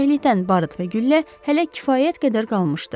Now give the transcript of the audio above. Xoşbəxtlikdən barıt və güllə hələ kifayət qədər qalmışdı.